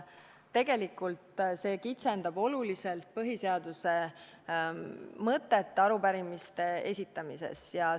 Tegelikult see kitsendab oluliselt põhiseaduse mõtet arupärimise esitamise puhul.